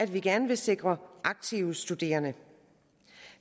vi gerne sikre aktive studerende